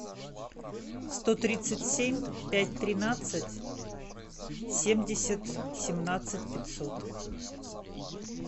сто тридцать семь пять тринадцать семьдесят семнадцать пятьсот